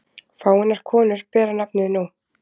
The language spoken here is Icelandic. Fáeinar konur bera nafnið nú.